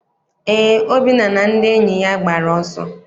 Eé, Obinna na ndị enyi ya gbara ọsọ.